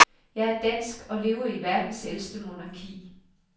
Jeg er dansk og lever i verdens ældste monarki.